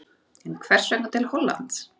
En hvers vegna til Hollands?